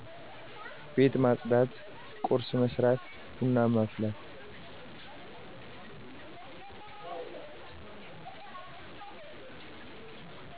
ቤት ማፅዳት ቁርስ መስራትና ብና ማፍላት